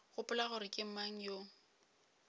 gopola gore ke mang yo